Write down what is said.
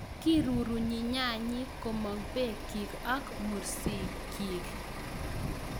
Kirurunyi nyanyik komong' bekyik ak mursikikyik.